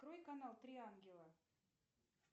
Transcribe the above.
открой канал три ангела